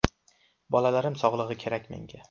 Bolalarim sog‘lig‘i kerak menga.